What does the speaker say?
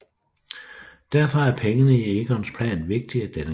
Derfor er pengene i Egons plan vigtige denne gang